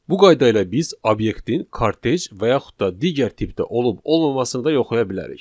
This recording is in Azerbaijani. Bu qayda ilə biz obyektin kortej və yaxud da digər tipdə olub-olmamasını da yoxlaya bilərik.